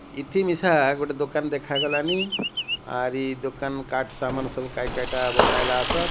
ଇତିମିଶା ଗୋଟେ ଦୁକାନ ଦେଖାଗଲାଣି ଆରି ଦୁକାନ କାଟ ସାମାନ ସବୁ କାଇ କାଇଟା ବନାଇଲା ଆସର।